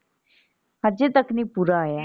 ਹਜੇ ਤੱਕ ਨਹੀਂ ਪੂਰਾ ਹੋਇਆ ਇੰਝ ਹੀ ਹੁੰਦਾ।